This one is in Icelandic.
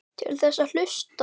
Til þess að hlusta.